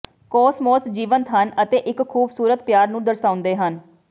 ਕੋਸਮੋਸ ਜੀਵੰਤ ਹਨ ਅਤੇ ਇੱਕ ਖੂਬਸੂਰਤ ਪਿਆਰ ਨੂੰ ਦਰਸਾਉਂਦੇ ਹਨ